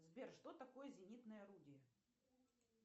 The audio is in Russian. сбер что такое зенитное орудие